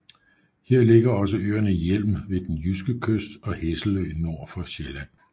Her ligger også øerne Hjelm ved den jyske kyst og Hesselø nord for Sjælland